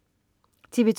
TV2: